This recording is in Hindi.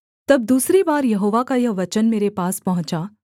तब दूसरी बार यहोवा का यह वचन मेरे पास पहुँचा